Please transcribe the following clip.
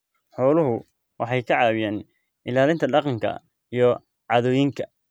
Xooluhu waxay caawiyaan ilaalinta dhaqanka iyo caadooyinka.